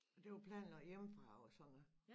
Det var planen også hjemmefra og sådan noget